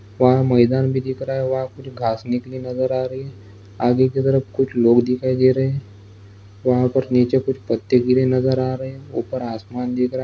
वहां मैदान भी दिख रहा है वहां कुछ घांस भी निकली नज़र आ रहे है आगे की तरफ कुछ लोग दिखाई दे रहे हैं वहां पर नीचे कुछ पत्ते गिरे नज़र आ रहे हैं ऊपर आसमान दिख रहा हैं।